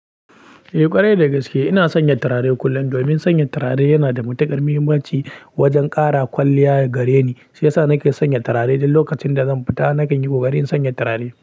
Eh ƙwarai dagaske ina sanya turare kullum, domin sanya turare yana da matuƙar muhimmanci wajen ƙara kwalliya gareni shiyasa nake sanya turare. Don lokacin da zan fita nakan yi ƙoƙari in sanya turare.